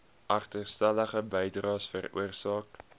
agterstallige bydraes veroorsaak